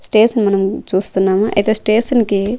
Station మనం చూస్తున్నాము అయితే స్టేషన్ కి .